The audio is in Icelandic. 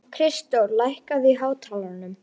Kristdór, lækkaðu í hátalaranum.